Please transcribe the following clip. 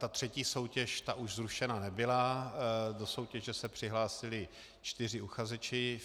Ta třetí soutěž, ta už zrušena nebyla, do soutěže se přihlásili čtyři uchazeči.